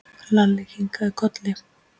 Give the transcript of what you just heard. Lalli kinkaði kolli.